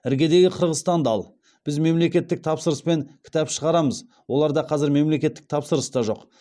іргедегі қырғызстанды ал біз мемлекеттік тапсырыспен кітап шығарамыз оларда қазір мемлекеттік тапсырыс та жоқ